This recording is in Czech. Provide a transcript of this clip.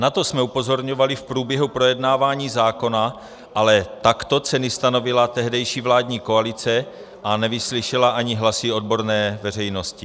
Na to jsme upozorňovali v průběhu projednávání zákona, ale takto ceny stanovila tehdejší vládní koalice a nevyslyšela ani hlasy odborné veřejnosti.